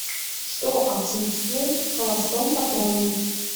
что отсутствует в холостом патроне